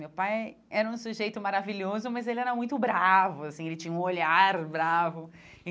Meu pai era um sujeito maravilhoso, mas ele era muito bravo, assim, ele tinha um olhar bravo.